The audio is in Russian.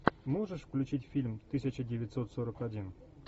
можешь включить фильм тысяча девятьсот сорок один